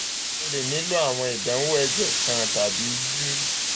um o le nilo awọn idanwo ẹjẹ kan tabi usg abdomen lati ṣe ayẹwo si irora naa um